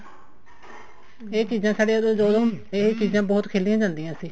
ਇਹ ਚੀਜ਼ਾਂ ਸਾਡੇ ਜੋ ਜੋ ਇਹ ਚੀਜ਼ਾਂ ਬਹੁਤ ਖੇਲਿਆਂ ਜਾਂਦੀਆਂ ਸੀ